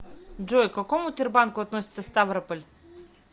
джой к какому тербанку относится ставрополь